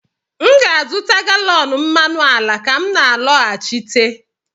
m ga-azụta galọn mmanụ ala ka m na-alọghachite